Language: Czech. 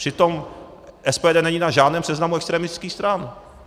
Přitom SPD není na žádném seznamu extremistických stran.